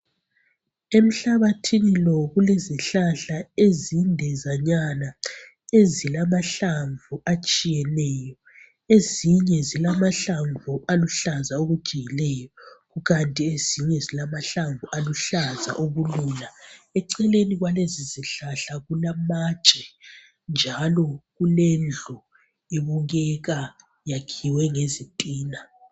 Emhlabathini lo kulezihlahla ezindezanyana ezilamahlamvu atshiyeneyo, ezinye zilamahlamvu aluhlaza okujiyileyo kanti ezinye zilamahlamvu oluhlaza okulula. Eceleni kwalezizihlahla kulamatshe njalo kulendlu ebukeka yakhiwe ngezitina.